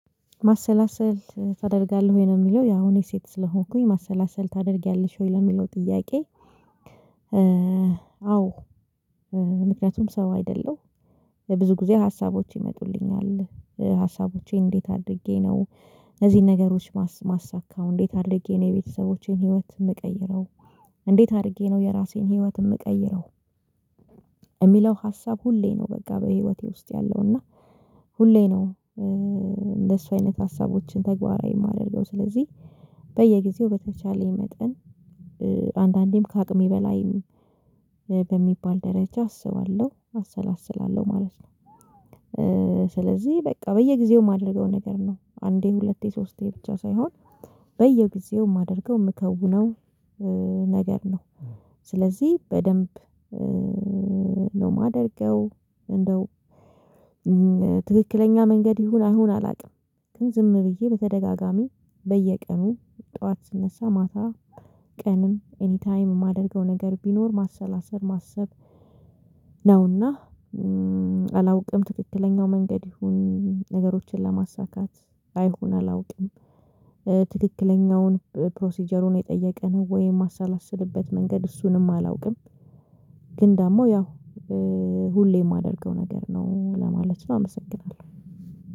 ማሰላሰል ታደርጋለህ ወይ ነው የሚለው ያው እኔ ሴት ስለሆንኩኝ ማሰላሰል ታደርጊያለሽ ወይ ለሚለው ጥያቄ? አዎ ምክንያቱም ሰው አይደለሁ ብዙ ጊዜ ሀሳቦች ይመጡልኛል። ሀሳቦቼን እንዴት አድርጌ ነው እነዚህን ነገሮች እማሳካው እንዴት አድርጌ ነው የቤተሰቦቼን ህይወት የምቀይረው እንዴት አድርጌ ነው የራሴን ህይወት የምቀይረው? እሚለው ሀሳብ ሁሌ ነው በቃ በህይወቴ ውስጥ ያለው እና ሁሌ ነው እንደሱ አይነት ሀሳቦችን ተግባራዊ የማደርገው። ስለዚህ በየጊዜው በተቻለኝ መጠን አንዳንዴም ከአቅሜ በላይም በሚባል ደረጃ አስባለሁ አሰላስላለሁ ማለት ነው። ስለዚህ በቃ በየጊዜው የማደርገው ነገር ነው አንዴ ሁለቴ ሶስቴ ብቻ ሳይሆን በየጊዜው የማደርገው የምከውነው ነገር ነው። ስለዚህ በደንብ ነው የማደርገው እንደው ትክክለኛ መንገድ ይሁን አይሁን አላውቅም። ግን ዝም ብዬ በተደጋጋሚ በየቀኑ ጠዋት ስነሳ ማታ ቀንም ኤኒ ታይም የማደርገው ነገር ቢኖር ማሰላሰል ማሰብ ነውና። አላውቅም ትክክለኛው መንገድ ይሁን ነገሮችን ለማሳካት አይሁን አላውቅም። ትክክለኛውን ፕሮሲጀሩን የጠየቀ ነው ወይም የማሳላስልበት መንገድ እሱንም አላውቅም። ግን ደግሞ ያው ሁሌ የማደርገው ነገር ነው ለማለት ነው አመሰግናለሁ።